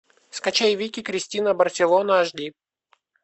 скачай вики кристина барселона аш ди